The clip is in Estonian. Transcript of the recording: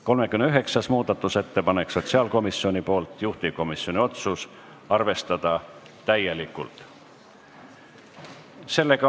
39. muudatusettepanek on sotsiaalkomisjonilt, juhtivkomisjoni otsus on arvestada täielikult.